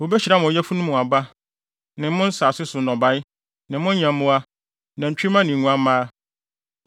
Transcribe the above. Wobehyira mo yafunu mu aba, ne mo nsase so nnɔbae, ne mo nyɛmmoa, nantwimma ne nguamma.